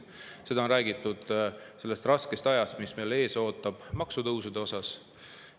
Seda on räägitud selle raske aja kontekstis, mis meid maksutõusude tõttu ees ootab.